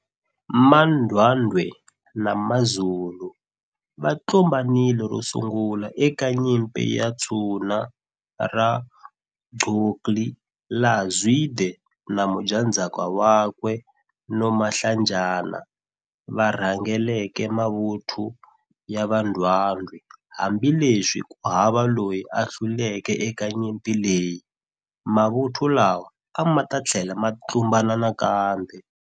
MaNdwandwe na maZulu, va tlumbanile ro sungula eka nyimpi ya Tshuna ra Gqokli laha Zwide na mudyandzhaka wakwe Nomahlanjana va rhangeleke mavuthu ya va Ndwandwe, hambileswi ku nga hava loyi a hluleke eka nyimpi leyi, mavuthu lawa amata thlela ma tlumbana nakambe.